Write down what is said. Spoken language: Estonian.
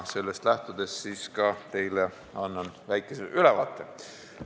Sellest lähtudes annan teile väikese ülevaate.